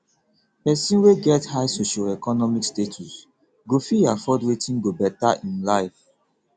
persin wey get high socioeconomic status go fit afford wetin go better im life